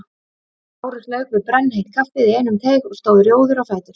Lárus lauk við brennheitt kaffið í einum teyg og stóð rjóður á fætur.